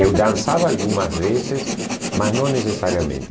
Eu dançava algumas vezes, mas não necessariamente.